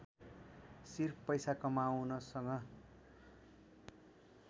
सिर्फ पैसा कमाउनसँग